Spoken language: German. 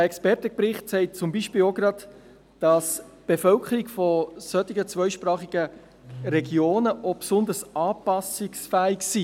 Der Expertenbericht zeigt zum Beispiel auch, dass die Bevölkerung solcher zweisprachiger Regionen besonders anpassungsfähig ist.